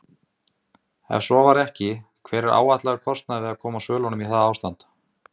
Ef svo var ekki, hver er áætlaður kostnaður við að koma svölunum í það ástand?